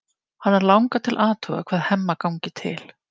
Hana langar til að athuga hvað Hemma gangi til.